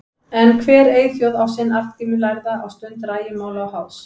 En hver eyþjóð á sinn Arngrím lærða á stund rægimála og háðs.